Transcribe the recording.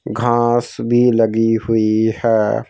घास भी लगी हुई है।